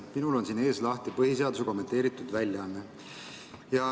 Minul on siin ees lahti põhiseaduse kommenteeritud väljaanne.